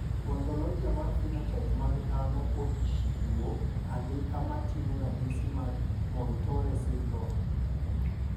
Ontologia mar phenotype mag dhano ochiwo andika moting`o ranyisi mag Muir Torre syndrome.